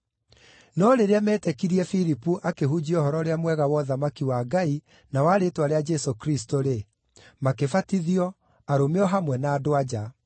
No rĩrĩa meetĩkirie Filipu akĩhunjia Ũhoro-ũrĩa-Mwega wa ũthamaki wa Ngai na wa rĩĩtwa rĩa Jesũ Kristũ-rĩ, makĩbatithio, arũme o hamwe na andũ-a-nja.